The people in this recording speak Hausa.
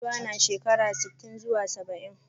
Giwa na shekara sitin zuwa saba'in.